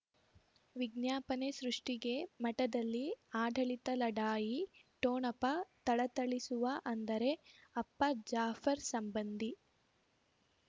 ವಿಜ್ಞಾಪನೆ ಸೃಷ್ಟಿಗೆ ಮಠದಲ್ಲಿ ಆಡಳಿತ ಲಢಾಯಿ ಠೋಣಪ ಥಳಥಳಿಸುವ ಅಂದರೆ ಅಪ್ಪ ಜಾಫರ್ ಸಂಬಂಧಿ